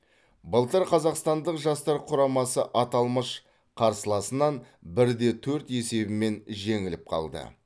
былтыр қазақстандық жастар құрамасы аталмыш қарсыласынан бір де төрт есебімен жеңіліп қалды